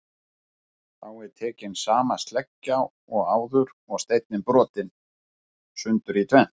Þá er tekin sama sleggja og áður og steinninn brotinn sundur í tvennt.